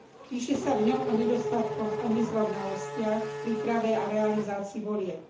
Píše sa v ňom o nedostatkoch a nezrovnalostiach v príprave a realizácii volieb.